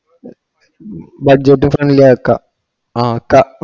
ആഹ് ഇക്ക ജെജ്ജുടെ friend ലെ അയക്കാ ആഹ് ക്ക